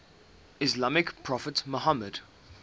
islamic prophet muhammad